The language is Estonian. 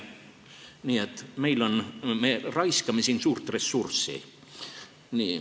Nii et me raiskame siin suurt ressurssi.